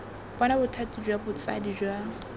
bona bothati jwa botsadi jwa